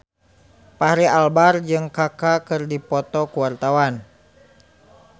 Fachri Albar jeung Kaka keur dipoto ku wartawan